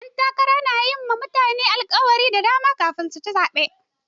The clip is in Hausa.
Ƴan takara na yi ma mutane alkawura da dama kafin su ci zaɓe.